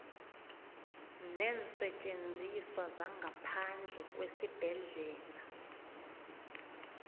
neensetjenziswa zangaphandle kwesibhedlela